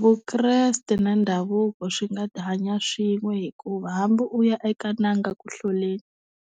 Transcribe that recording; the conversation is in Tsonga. Vukreste na ndhavuko swi nga hanya swin'we hikuva hambi u ya eka n'anga ku hloleni